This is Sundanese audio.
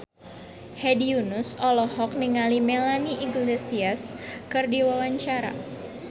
Hedi Yunus olohok ningali Melanie Iglesias keur diwawancara